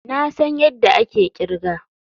Na san yadda ake kirga.